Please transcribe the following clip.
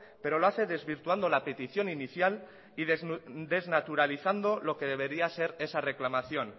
pero lo hace desvirtuando la petición inicial y desnaturalizando lo que debería ser esa reclamación